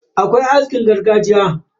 Akwai askin gargajiya.